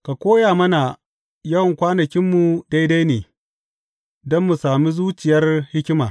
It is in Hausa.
Ka koya mana yawan kwanakinmu daidai, don mu sami zuciyar hikima.